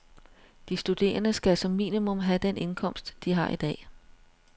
De studerende skal som minimum have den indkomst, de har i dag.